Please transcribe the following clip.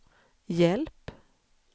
hjälp